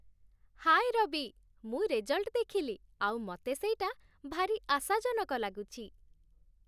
ହାଏ ରବି, ମୁଁ ରେଜଲ୍ଟ ଦେଖିଲି ଆଉ ମତେ ସେଇଟା ଭାରି ଆଶାଜନକ ଲାଗୁଚି ।